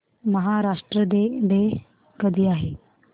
Maharashtra day कधी आहे